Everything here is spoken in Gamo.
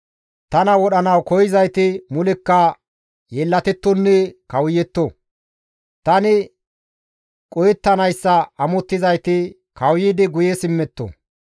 Tana wodhanawu koyzayti mulekka yeellatettonne kawuyetto; tani qohettanayssa amottizayti kawuyidi guye simmetto.